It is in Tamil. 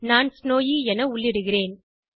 நான் ஸ்னோவி என உள்ளிடுகிறேன்